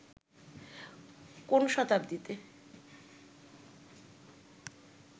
কোন শতাব্দীতে